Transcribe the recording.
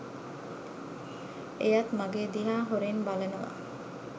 එයත් මගෙ දිහා හොරෙන් බලනවා